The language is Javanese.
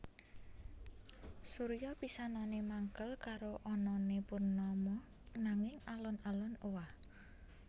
Surya pisanané mangkel karo anané Purnama nanging alon alon owah